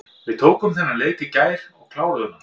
Við tókum þennan leik í gær og kláruðum hann.